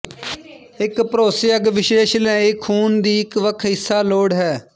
ਇੱਕ ਭਰੋਸੇਯੋਗ ਵਿਸ਼ਲੇਸ਼ਣ ਲਈ ਖੂਨ ਦੀ ਇੱਕ ਵੱਖ ਹਿੱਸਾ ਲੋੜ ਹੈ